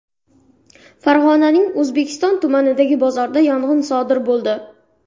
Farg‘onaning O‘zbekiston tumanidagi bozorda yong‘in sodir bo‘ldi.